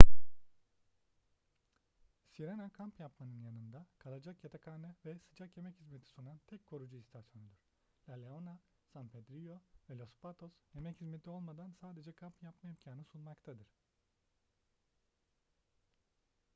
sirena kamp yapmanın yanında kalacak yatakhane ve sıcak yemek hizmeti sunan tek korucu istasyonudur la leona san pedrillo ve los patos yemek hizmeti olmadan sadece kamp yapma imkanı sunmaktadır